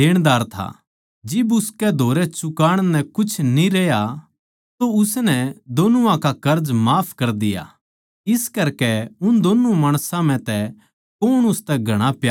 जिब उनकै धोरै चूकाण नै कुछ न्ही रह्या तो उसनै दोनुआ का कर्ज माफ कर दिया इस करकै उन दोन्नु माणसां म्ह तै कौण उसतै घणा प्यार राक्खैगा